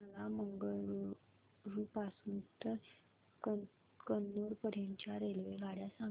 मला मंगळुरू पासून तर कन्नूर पर्यंतच्या रेल्वेगाड्या सांगा